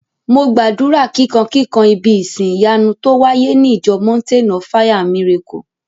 Mo gbàdúrà kíkan kikan ibí ìsin ìyanu tó wáyé ní ìjọ mountain of fire and miracle